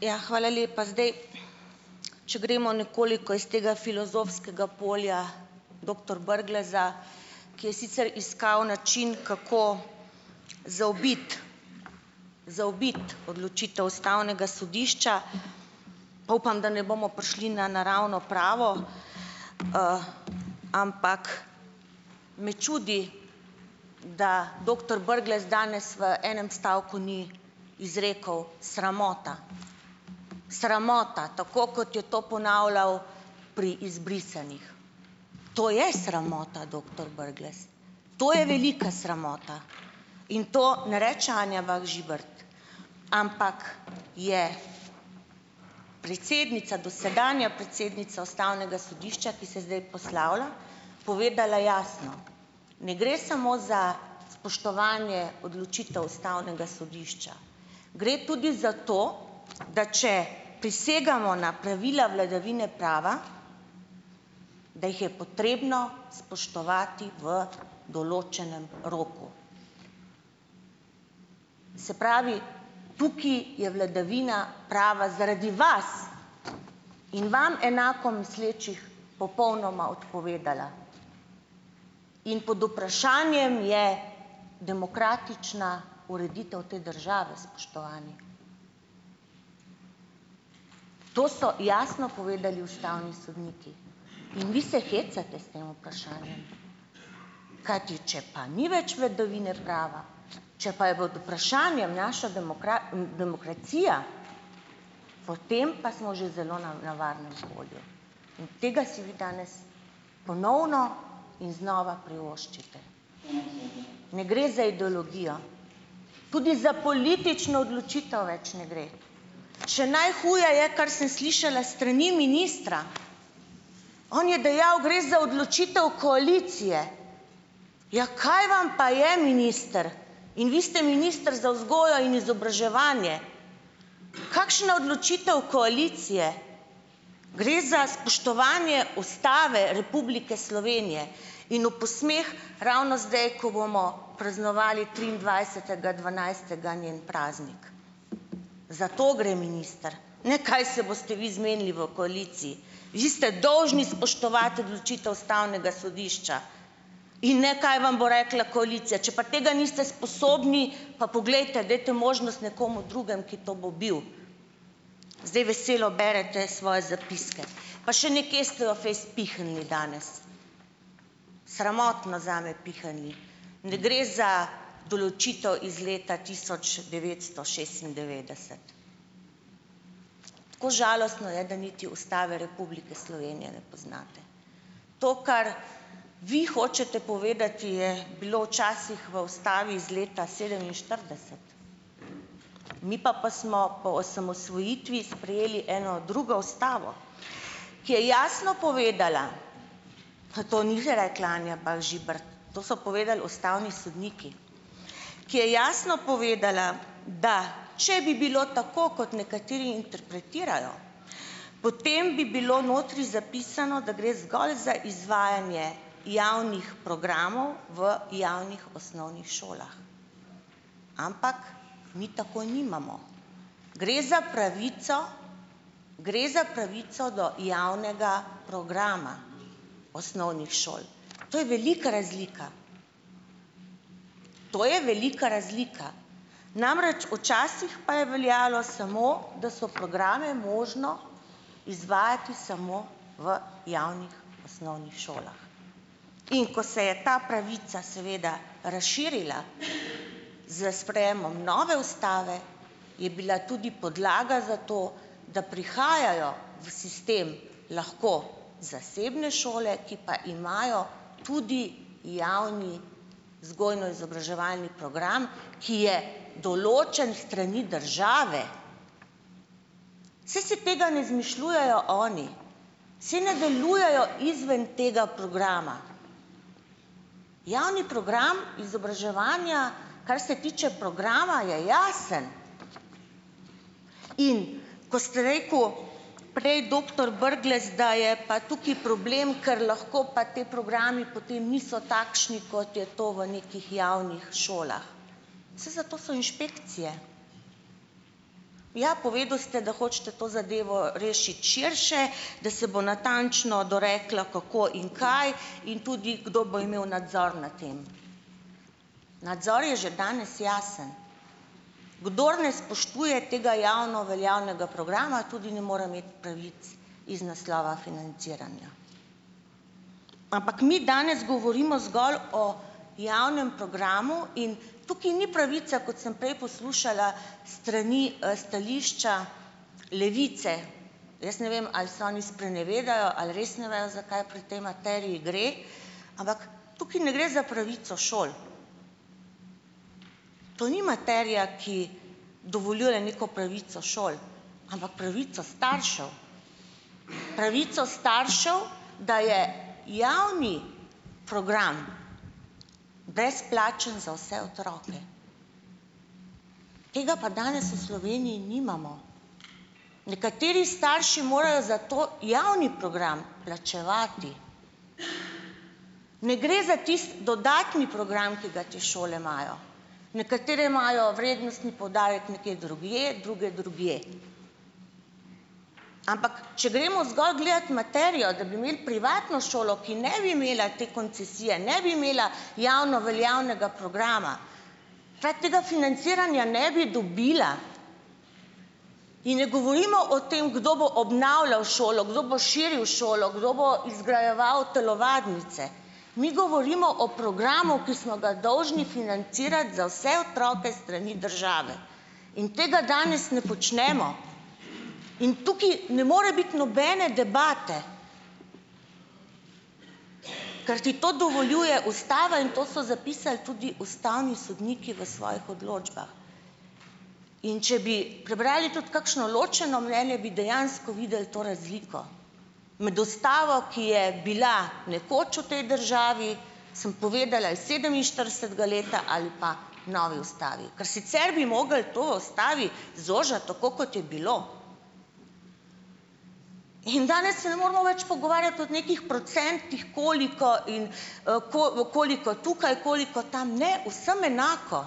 Ja. Hvala lepa. Zdaj, če gremo nekoliko iz tega filozofskega polja doktor Brgleza, ki je sicer iskal način, kako zaobiti zaobiti odločitev Ustavnega sodišča, pa upam, da ne bomo prišli na naravno pravo, ampak me čudi, da doktor Brglez danes v enem stavku ni izrekel sramota. Sramota, tako kot je to ponavljal pri izbrisanih. To je sramota, doktor Brglez. To je velika sramota. In to ne reče Anja Bah Žibert, ampak je predsednica, dosedanja predsednica Ustavnega sodišča, ki se zdaj poslavlja, povedala jasno, ne gre samo za spoštovanje odločitev Ustavnega sodišča, gre tudi za to, da če prisegamo na pravila vladavine prava, da jih je potrebno spoštovati v določnem roku. Se pravi, tukaj je vladavina prava zaradi vas in vam enako mislečih popolnoma odpovedala. In pod vprašanjem je demokratična ureditev te države, spoštovani. To so jasno povedali ustavni sodniki in vi se hecate s tem vprašanjem, kajti če pa ni več vladavine prava, če pa je pod vprašanjem naša demokracija, potem pa smo že zelo na nevarnem polju, in tega si vi danes ponovno in znova privoščite. Ne gre za ideologijo, tudi za politično odločitev več ne gre, še najhuje je, kar sem slišala s strani ministra, on je dejal, gre za odločitev koalicije. Ja, kaj vam pa je, minister. In vi ste minister za vzgojo in izobraževanje. Kakšna odločitev koalicije. Gre za spoštovanje Ustave Republike Slovenije in v posmeh ravno zdaj, ko bomo praznovali triindvajsetega dvanajstega njen praznik. Za to gre, minister, ne, kaj se boste vi zmenili v koaliciji. Vi ste dolžni spoštovati odločitev ustavnega sodišča in ne kaj vam bo rekla koalicija. Če pa tega niste sposobni, pa poglejte, dajte možnost nekomu drugemu, ki to bo bil. Zdaj veselo berete svoje zapiske. Pa še nekje ste jo fejst pihnili danes. Sramotno zame, pihnili. Ne gre za določitev iz leta tisoč devetsto šestindevetdeset. Tako žalostno je, da niti Ustave Republike Slovenije ne poznate. To, kar vi hočete povedati, je bilo včasih v Ustavi iz leta sedeminštirideset. Mi pa pa smo po osamosvojitvi sprejeli eno drugo Ustavo, ki je jasno povedala, pa to ni rekla Anja Bah Žibert, to so povedali ustavni sodniki, ki je jasno povedala, da če bi bilo tako, kot nekateri interpretirajo, potem bi bilo notri zapisano, da gre zgolj za izvajanje javnih programov v javnih osnovnih šolah, ampak mi tako nimamo. Gre za pravico, gre za pravico do javnega programa osnovnih šol. To je velika razlika, to je velika razlika. Namreč, včasih pa je veljalo samo, da so programe možno izvajati samo v javnih osnovnih šolah. In ko se je ta pravica seveda razširila s sprejemom nove ustave, je bila tudi podlaga za to, da prihajajo v sistem lahko zasebne šole, ki pa imajo tudi javni vzgojno-izobraževalni program, ki je določen s strani države. Saj se tega ne izmišljujejo oni, saj ne delujejo izven tega programa. Javni program izobraževanja, kar se tiče programa, je jasen, in ko ste rekel prej, doktor Brglez, da je pa tukaj problem, kar lahko pa ti programi potem niso takšni, kot je to v nekih javnih šolah. Saj zato so inšpekcije. Ja, povedal ste, da hočete to zadevo rešiti širše, da se bo natančno doreklo, kako in kaj, in tudi, kdo bo imel nadzor nad tem. Nadzor je že danes jasen. Kdor ne spoštuje tega javno veljavnega programa, tudi ne more imeti pravic iz naslova financiranja. Ampak mi danes govorimo zgolj o javnem programu in tukaj ni pravica, kot sem prej poslušala s strani stališča Levice. Jaz ne vem, ali se oni sprenevedajo ali res ne vejo, zakaj pri tej materiji gre, ampak tukaj ne gre za pravico šoli. To ni materija, ki dovoljuje neko pravico šoli, ampak pravico staršev. Pravico staršev, da je javni program brezplačen za vse otroke. Tega pa danes v Sloveniji nimamo. Nekateri starši morajo zato javni program plačevati. Ne gre za tisti dodatni program, ki ga te šole imajo. Nekatere imajo vrednostni poudarek nekje drugje, druge drugje, ampak če gremo zgolj gledat materijo, da bi imeli privatno šolo, ki ne bi imela te koncesije, ne bi imela javno veljavnega programa, ta tega financiranja ne bi dobila in ne govorimo o tem, kdo bo obnavljal šolo, kdo bo širil šolo, kdo bo izgrajeval telovadnice, mi govorimo o programu, ki smo ga dolžni financirati za vse otroke s strani države in tega danes ne počnemo. In tukaj ne more biti nobene debate, ker ti to dovoljuje ustava in to so zapisali tudi ustavni sodniki v svojih odločbah, in če bi prebrali tudi kakšno ločeno mnenje, bi dejansko videli to razliko. Med ustavo, ki je bila nekoč v tej državi, sem povedala iz sedeminštiridesetega leta ali pa novi ustavi, kar sicer bi mogli to v ustavi zožati, tako kot je bilo. In danes se ne moremo več pogovarjati od nekih procentih, koliko in ko, koliko tukaj, koliko tam - ne, vsem enako.